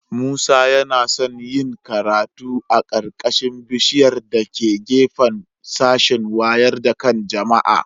Musa yana son yin karatu a ƙarƙashin bishiƴar da ke gefen sashin waƴar da kan jama'a